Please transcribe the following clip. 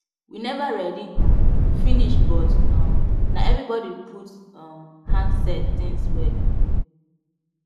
we never ready um finish but um na everybody put um hand set things well